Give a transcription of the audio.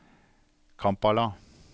Kampala